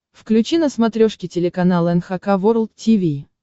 включи на смотрешке телеканал эн эйч кей волд ти ви